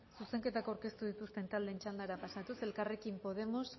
zuzenketa aurkeztu dituzten taldeen txandara pasatuz elkarrekin podemos